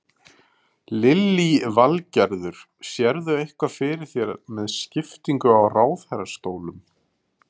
Lillý Valgerður: Sérðu eitthvað fyrir þér með skiptingu á ráðherrastólum?